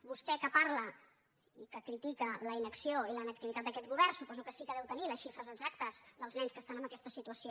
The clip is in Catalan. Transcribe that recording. vostè que parla i que critica la inacció i la inactivitat d’aquest govern suposo que sí que deu tenir les xifres exactes dels nens que estan en aquesta situació